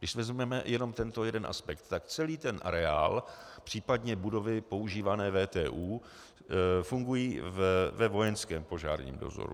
Když vezmeme jenom tento jeden aspekt, tak celý ten areál, případně budovy používané VTÚ fungují ve vojenském požárním dozoru.